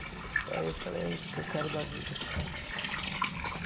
Aí eu falei, é isso que eu quero da vida.